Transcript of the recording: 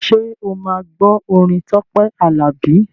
Ṣé o máa gbọ́ orin Tọ́pẹ́ Àlàbí?